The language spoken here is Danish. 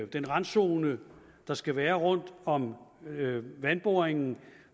den randzone der skal være rundt om vandboringen